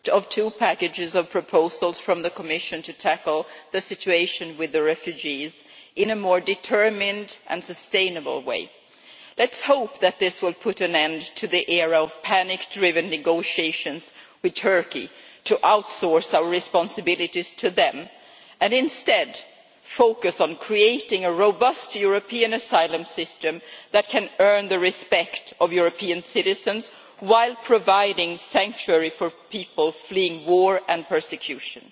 Mr President, I am very happy that we now have two packages of proposals from the Commission to tackle the situation with the refugees in a more determined and sustainable way. Let us hope that this will put an end to the era of panic-driven negotiations with Turkey to outsource our responsibilities to them, and instead focus on creating a robust European asylum system that can earn the respect of European citizens, while providing sanctuary for people fleeing war and persecution.